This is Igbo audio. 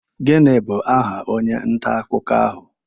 Gịnị bụ aha onye nta akụkọ ahụ?